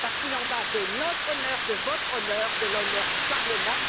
Il en va de notre honneur, de votre honneur, de l'honneur du Parlement.